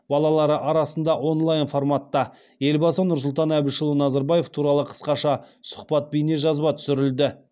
балалары арасында онлайн форматта елбасы нұрсұлтан әбішұлы назарбаев туралы қысқаша сұхбат бейнежазба түсірілді